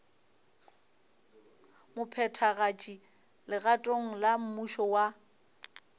mophethagatši legatong la mmušo wa